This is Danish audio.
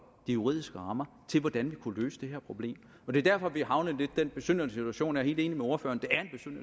de juridiske rammer til hvordan vi kunne løse det her problem det er derfor vi er havnet i den besynderlige situation jeg er helt enig med ordføreren